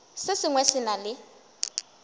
se sengwe se na le